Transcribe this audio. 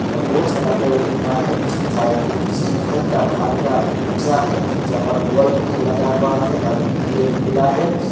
और बहुत सारा पेड़ दिख रहा है शायद ये किसी घर का बाहर का नक्शा है जहां पर वॉल भी लगा हुआ है और एक गेट खुला है।